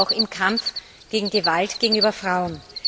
sie ist es auch im Kampf gegen Gewalt gegenüber Frauen.